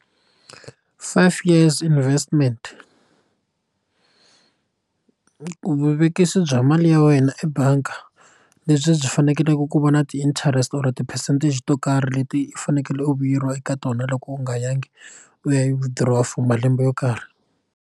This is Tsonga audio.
Five years investment vuvekisi bya mali ya wena ebangi lebyi byi fanekeleke ku vona ti interest or ti percentage to karhi leti u fanekele u vuyeriwa eka tona loko u nga yangi u ya yi withdraw for malembe yo karhi.